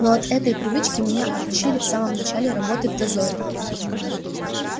но от этой привычки меня отучили в самом начале работы в дозоре